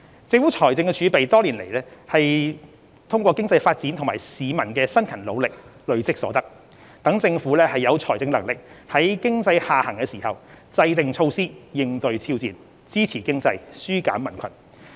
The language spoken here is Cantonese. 政府財政儲備是多年來通過經濟發展及市民辛勤努力累積所得，讓政府有財政能力在經濟下行時制訂措施以應對挑戰，支持經濟，紓減民困。